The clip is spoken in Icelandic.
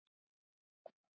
Ég má ekki líta undan.